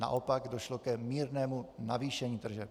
Naopak, došlo k mírnému navýšení tržeb.